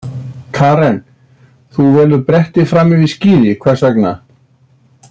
Karen: Þú velur bretti fram yfir skíði, hvers vegna?